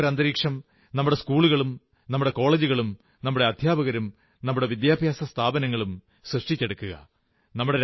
ഇതിനുതക്ക ഒരു അന്തരീക്ഷം നമ്മുടെ സ്കൂളുകളും നമ്മുടെ കോളജുകളും നമ്മുടെ അധ്യാപകരും നമ്മുടെ വിദ്യാഭ്യാസ സ്ഥാപനങ്ങളും സൃഷ്ടിച്ചെടുക്കുക